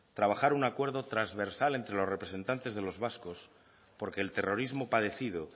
trabajar un acuerdo trasversal entre los representantes de los vascos porque el terrorismo padecido